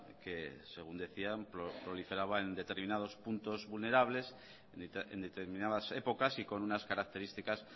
que según decían proliferaban en determinados puntos vulnerables en determinadas épocas y con una características